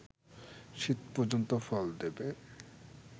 শীত পর্যন্ত ফল দেবে